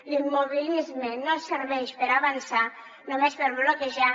l’immobilisme no serveix per avançar només per bloquejar